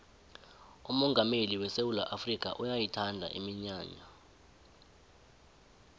umongameli wesewula afrikha uyayithanda iminyanya